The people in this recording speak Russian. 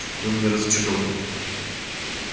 вы меня разочаровали